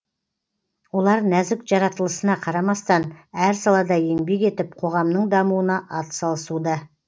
олар нәзік жаратылысына қарамастан әр салада еңбек етіп қоғамның дамуына атсалысуда